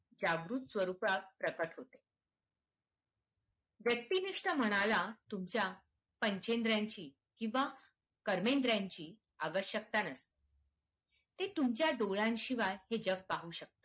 जागृत स्वरूपात प्रकट होते. व्यक्तिनिष्ठ म्हणाला, तुमच्या पंचेंद्रियांची किंवा कर्मेंद्रियांची आवश्यकता नाही ते तुमच्या डोळ्यां शिवाय हे जग पाहू शकते.